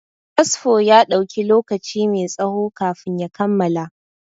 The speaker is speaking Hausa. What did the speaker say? Fasfo ya ɗauki lokaci mai tsaho kafin ya kammala.